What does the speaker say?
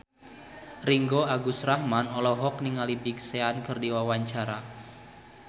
Ringgo Agus Rahman olohok ningali Big Sean keur diwawancara